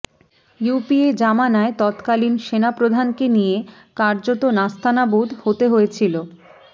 UPA জমানায় তৎকালীন সেনাপ্রধানকে নিয়ে কার্যত নাস্তানাবুদ হতে হয়েছিল